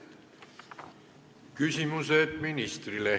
Küsimused ministrile.